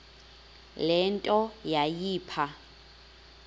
le nto yayipha